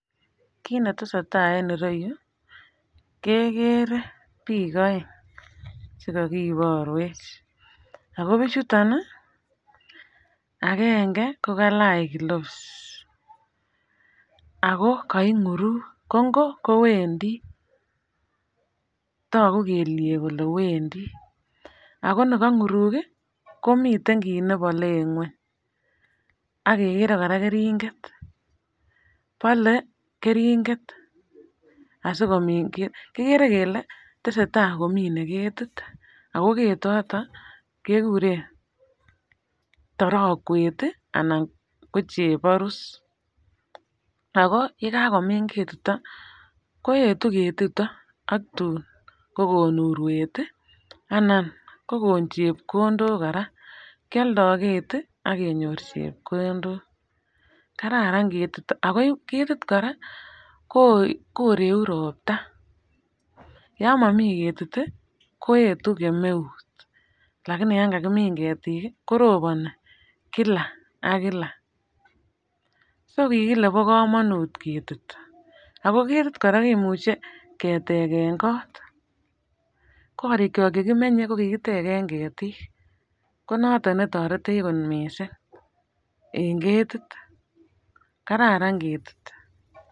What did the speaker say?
Kit netesetai en ireyu kekere biik oeng chekakiborwech ako bichuton ih agenge kokalach gloves ako koing'urung, ko ngo kowendii togu kelyek kole wendii ako ni kong'urung ih komiten kit nebole en ng'weny akekere kora keringet bole keringet asikomin ket kikere kele tesetai komine ketit ako ketoto kekuren torokwet ih anan ko cheborus ako yekakomim ketito koetu ketito ak tun kokon urwet ih anan kokon chepkondok kora kioldoo keti ak kenyor chepkondok, kararan ketito ako ketit kora koreku ropta. Yon momii ketit ih koetu kemeut lakini yan kakimin ketik ih koroboni kila ak kila, so kikile bo komonut ketit ako ketit kora kimuche ketegen kot, korik kyok chekimenye kokikitegen ketik konoton netoretech kot missing en ketit kararan ketit.